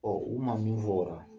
Ɔ u ma min fɔ o ra